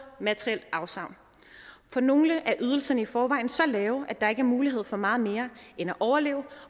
materielt afsavn for nogle er ydelserne i forvejen så lave at der ikke er mulighed for meget mere end at overleve